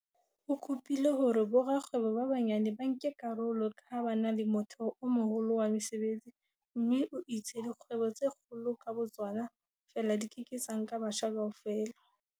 O kopile hore borakgwebo ba banyane ba nke karolo ka ha ba na le motheo o moholo wa mesebetsi mme o itse dikgwebo tse kgolo ka bo tsona feela di ke ke tsa nka batjha kaofela.